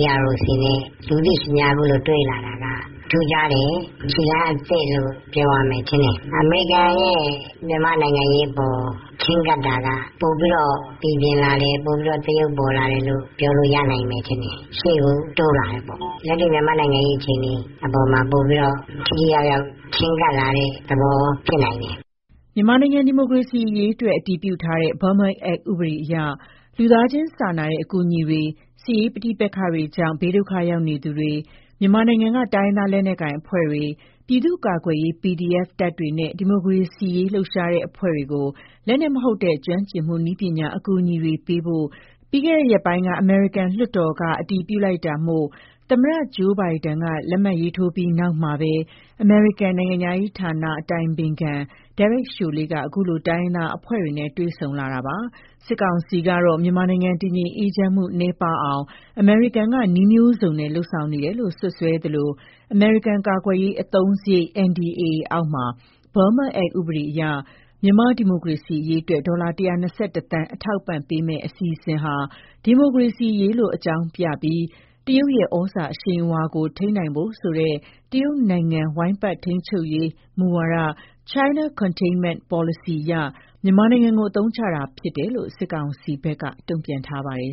“EAOs တွေနဲ့ လူသိရှင်ကြား အခုလို တွေ့လာတာက ထူးခြားတယ်။ ခြေလှမ်းအသစ်လို့ ပြောရမယ်ထင်တယ်။ အမေရိကန်ရဲ့ မြန်မာ့နိုင်ငံရေးအပေါ် ချဉ်းကပ်တာက ပိုပြီးတော့ ပီပြင်လာလေ ပိုပြီးတော့ သရုပ်ပေါ်လာတာလို့ ပြောလို့ရနိုင်မယ်ထင်တယ်။ ရှေ့ကို တိုးလာတယ်ပေ့ါ။ မြန်မာ့နိုင်ငံရေးအခြေအနေအပေါ်မှာ ပိုပြီးတော့ ထိထိရောက်ရောက် ချဉ်းကပ်လာတဲ့ သဘောဖြစ်နိုင်တယ်။” မြန်မာနိုင်ငံ ဒီမိုကရေစီရေးအတွက် အတည်ပြုထားတဲ့ Burma Act ဥပဒေအရ လူသားချင်းစာနာတဲ့ အကူအညီတွေ စစ်ရေးပဋိပက္ခတွေကြောင့် ဘေးဒုက္ခရောက်နေသူတွေ မြန်မာနိုင်ငံက တိုင်းရင်းသား လက်နက်ကိုင်အဖွဲ့တွေ ပြည်သူ့ကာကွယ်ရေး PDF တပ်တွေနဲ့ ဒီမိုကရေစီရေးလှုပ်ရှားတဲ့ အဖွဲ့တွေကို လက်နက်မဟုတ်တဲ့ ကျွမ်းကျင်မှု နည်းပညာ အကူအညီတွေပေးဖို့ ပြီးခဲ့တဲ့ရက်ပိုင်းက အမေရိကန်လွှတ်တော်က အတည်ပြုလိုက်တာမို့ သမ္မတ Joe Biden က လက်မှတ်ရေးထိုးပြီးနောက်မှာပဲ အမေရိကန်နိုင်ငံခြားရေး အတိုင်ပင်ခံ Derek Chollet အခုလို တိုင်းရင်းသားအဖွဲ့ တွေ နဲ့တွေ့ဆုံလာတာပါ။ စစ်ကောင်စီကတော့ မြန်မာနိုင်ငံ တည်ငြိမ်အေးချမ်းမှု နည်းပါးအောင် အမေရိကန်က နည်းမျိုးစုံနဲ့ လုပ်ဆောင်နေတယ်လို့ စွပ်စွဲထားသလို အမေရိကန်ကာကွယ်ရေး အသုံးစရိတ် NDAA အောက်မှာ Burma Act ဥပဒေအရ မြန်မာ့ဒီမိုကရေစီရေးအတွက် ဒေါ်လာ ၁၂၁ သန်း အထောက်အပံ့ပေးမယ့် အစီအစဉ်ဟာ ဒီမိုကရေစီရေးလို့ အကြောင်းပြကာ တရုတ်ရဲ့ ဩဇာအရှိန်အဝါကို ထိန်းနိုင်ဖို့ဆိုတဲ့ တရုတ်နိုင်ငံဝိုင်း ပတ်ထိန်းချုပ်ရေးမူဝါဒ (China Containment Policy) အရ မြန်မာနိုင်ငံကို အသုံးချတာဖြစ်တယ်လို့ စစ်ကောင်စီဘက်က တုံပြန်ထားပါတယ်